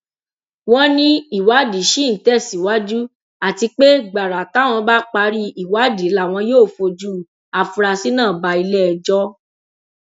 wọn ní ìwádìí ṣì ń tẹsíwájú àti pé gbàrà táwọn bá parí ìwádìí làwọn yóò fojú afurasí náà bá iléẹjọ